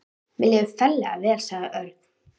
Mér líður ferlega vel, sagði Örn.